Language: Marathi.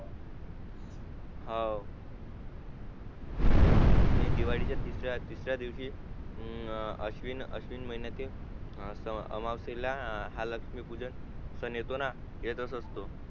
हवं आणि दिवाळीचा तिसऱ्या तिसऱ्या दिवशी हं अस्विन अश्विन महिन्यातील या स आमावासेला हा लक्ष्मी पूजन सण येतो ना येताच असतो